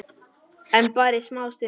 En bara í smá stund.